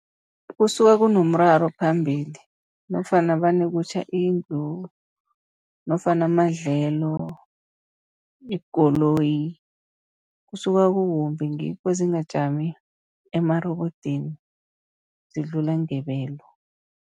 Kusuka kunomraro phambili nofana vane kutjha indlu, nofana amadlelo, ikoloyi. Kusuka kukumbi ngikho zingajami emarobodini zidlula ngebelo.